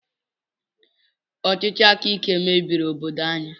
Ọchịchị akaike mebiri obodo anyị.